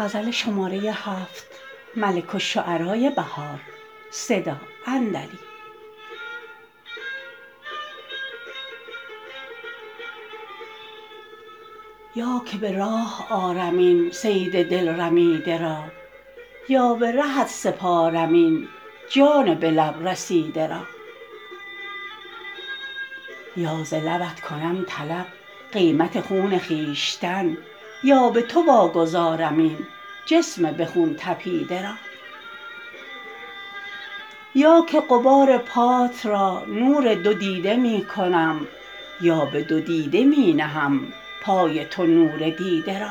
یا که به راه آرم این صید دل رمیده را یا به رهت سپارم این جان به لب رسیده را یا ز لبت کنم طلب قیمت خون خویشتن یا به تو واگذارم این جسم به خون طپیده را یا که غبار پات را نور دو دیده می کنم یا به دو دیده می نهم پای تو نور دیده را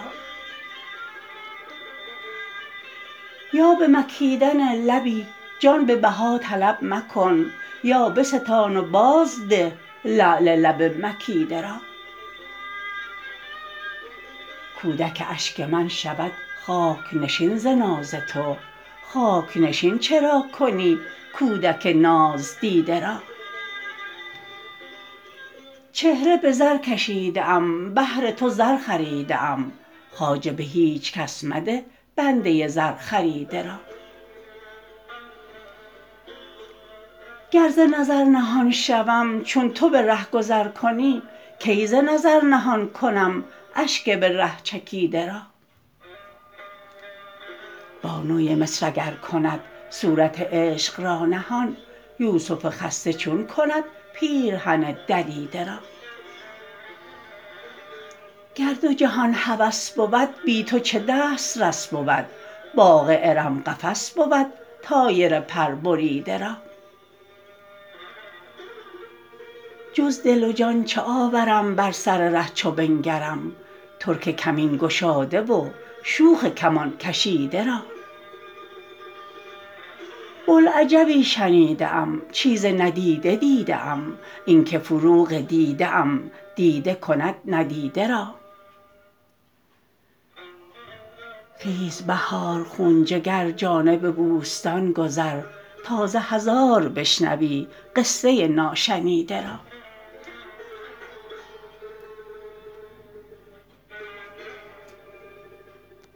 یا به مکیدن لبی جان به بها طلب مکن یا بستان و بازده لعل لب مکیده را کودک اشگ من شود خاک نشین ز ناز تو خاک نشین چرا کنی کودک ناز دیده را چهره به زر کشیده ام بهر تو زر خریده ام خواجه به هیچ کس مده بنده زر خریده را گر ز نظر نهان شوم چون تو به ره گذر کنی کی ز نظر نهان کنم اشگ به ره چکیده را بانوی مصر اگر کند صورت عشق را نهان یوسف خسته چون کند پیرهن دریده را گر دو جهان هوس بود بی تو چه دسترس بود باغ ارم قفس بود طایر پر بریده را جز دل و جان چه آورم بر سر ره چو بنگرم ترک کمین گشاده و شوخ کمان کشیده را بلعجبی شنیده ام چیز ندیده دیده ام اینکه فروغ دیده ام دیده کند ندیده را خیز بهار خون جگر جانب بوستان گذر تا ز هزار بشنوی قصه ناشنیده را